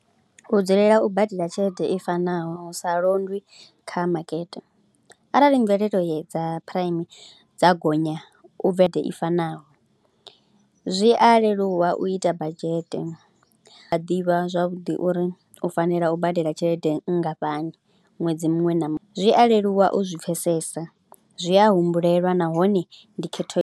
U dzulela u badela tshelede i fanaho hu sa londwi kha makete arali mvelele dza prime dza gonya u vethe i fanaho, zwi a leluwa u ita badzhete, u a ḓivha zwavhuḓi uri u fanela u badela tshelede nngafhani ṅwedzi muṅwe na muṅwe. Zwi a leluwa u zwi pfhesesa, zwi a humbulelwa nahone ndi khetho.